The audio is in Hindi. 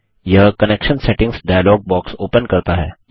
यह connection settings dialog box open करता है